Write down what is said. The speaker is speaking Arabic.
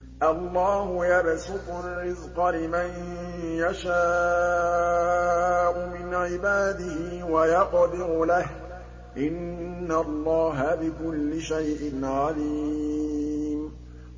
اللَّهُ يَبْسُطُ الرِّزْقَ لِمَن يَشَاءُ مِنْ عِبَادِهِ وَيَقْدِرُ لَهُ ۚ إِنَّ اللَّهَ بِكُلِّ شَيْءٍ عَلِيمٌ